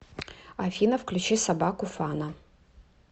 афина включи собаку фана